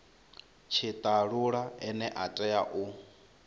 tshitalula ane a tea u